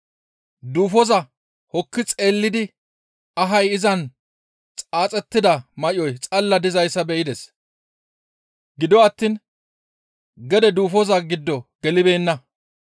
Duufoza hokki xeellidi ahay izan xaaxettida may7oy xalla dizayssa be7ides; gido attiin gede duufoza giddo gelibeenna.